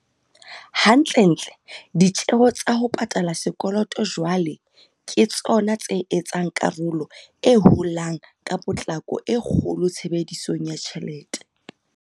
Hantlentle, ditjeo tsa ho pa tala sekoloto jwale ke tsona tse etsang karolo e holang ka potlako e kgolo tshebedisong ya tjhelete.